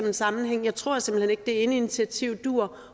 en sammenhæng jeg tror simpelt hen ikke det ene initiativ dur